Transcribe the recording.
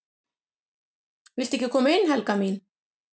"""VILTU EKKI KOMA INN, HELGA MÍN!"""